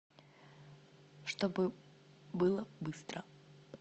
чтобы было быстро